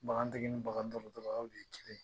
Bagantigi ni bagandɔgɔtɔrɔ aw de ye kelen ye